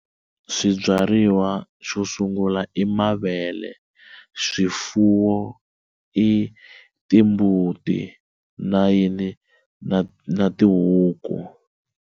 Swibyariwa swo sungula i mavele swifuwo i timbuti na yini na na tihuku.